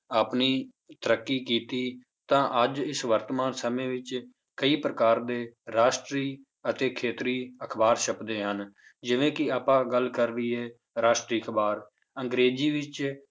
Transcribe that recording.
ਆਪਣੀ ਤਰੱਕੀ ਕੀਤੀ ਤਾਂ ਅੱਜ ਇਸ ਵਰਤਮਾਨ ਸਮੇਂ ਵਿੱਚ ਕਈ ਪ੍ਰਕਾਰ ਦੇ ਰਾਸ਼ਟਰੀ ਅਤੇ ਖੇਤਰੀ ਅਖ਼ਬਾਰ ਛੱਪਦੇ ਹਨ, ਜਿਵੇਂ ਕਿ ਆਪਾਂ ਗੱਲ ਕਰ ਲਈਏ ਰਾਸ਼ਟਰੀ, ਅਖ਼ਬਾਰ ਅੰਗਰੇਜ਼ੀ ਵਿੱਚ